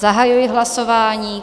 Zahajuji hlasování.